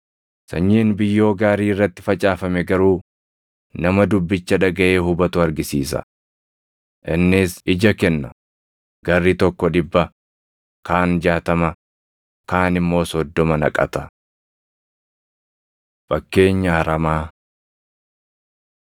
Sanyiin biyyoo gaarii irratti facaafame garuu nama dubbicha dhagaʼee hubatu argisiisa. Innis ija kenna; garri tokko dhibba, kaan jaatama, kaan immoo soddoma naqata.” Fakkeenya Aramaa